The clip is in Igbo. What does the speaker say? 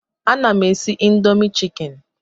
Ana m esi indomi chikeni